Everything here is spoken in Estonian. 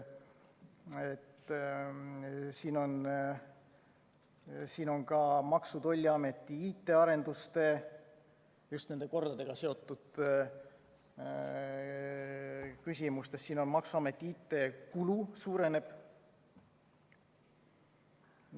Siin on ka Maksu‑ ja Tolliameti IT‑arenduste kohta just nende kordadega seotud küsimustes öeldud, et maksuameti IT‑kulu uureneb.